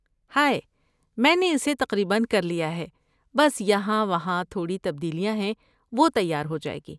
High, میں نے اسے تقریباً کر لیا ہے، بس یہاں وہاں تھوڑی تبدیلیاں ہیں، وہ تیار ہو جائے گی۔